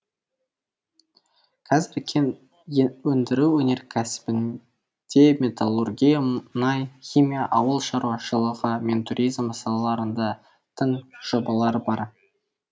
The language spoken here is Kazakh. қазір кен өндіру өнеркәсібінде металлургия мұнай химия ауыл шаруашылығы мен туризм салаларында тың жобалар бар